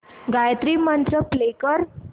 गायत्री मंत्र प्ले कर